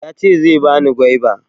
Yace zai bani gwaiba